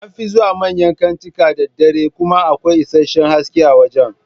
An fi zuwa manyan kantika da dare kuma akwai isasshen haske a wajan